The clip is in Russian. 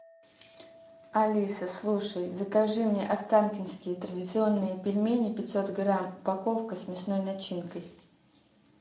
алиса слушай закажи мне останкинские традиционные пельмени пятьсот грамм упаковка с мясной начинкой